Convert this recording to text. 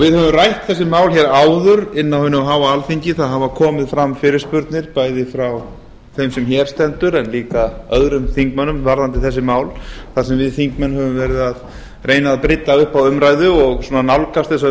við höfum rætt þessi mál hér áður inni á hinu háa alþingi það hafa komið fram fyrirspurnir bæði frá þeim sem hér stendur og líka frá öðrum þingmönnum varðandi þessi mál þar sem við þingmenn höfum verið að reyna að brydda upp á umræðu og nálgast þessa